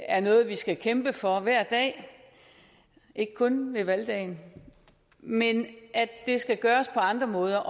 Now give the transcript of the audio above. er noget vi skal kæmpe for hver dag ikke kun på valgdagen men at det skal gøres på andre måder